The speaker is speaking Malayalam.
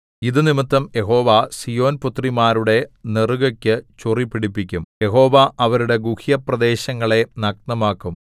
ഇതു നിമിത്തം യഹോവ സീയോൻ പുത്രിമാരുടെ നെറുകക്കു ചൊറി പിടിപ്പിക്കും യഹോവ അവരുടെ ഗുഹ്യപ്രദേശങ്ങളെ നഗ്നമാക്കും